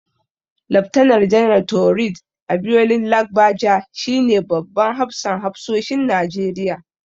Laftanar Janar Taoreed Abiodun Lagbaja shi ne babban hafsan hafsoshin Najeriya.